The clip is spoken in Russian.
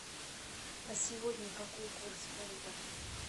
а сегодня какой курс фунта